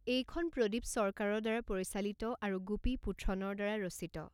এইখন প্ৰদীপ সৰকাৰৰ দ্বাৰা পৰিচালিত আৰু গোপী পুথ্ৰনৰ দ্বাৰা ৰচিত।